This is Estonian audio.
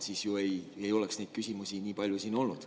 Siis ju ei oleks neid küsimusi nii palju siin olnud.